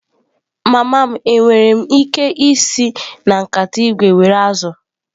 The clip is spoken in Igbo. Mama m, enwere m ike isi na nkata ígwè were azụ̀?